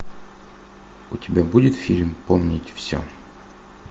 у тебя будет фильм помнить все